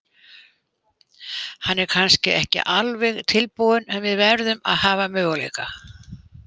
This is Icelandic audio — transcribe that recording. Hann er kannski ekki alveg tilbúinn en við verðum að hafa möguleika.